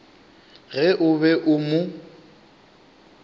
ge o be o mo